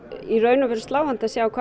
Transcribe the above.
í raun og veru sláandi að sjá hvað